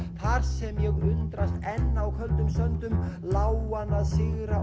þar sem ég undrast enn á köldum söndum lágan að sigra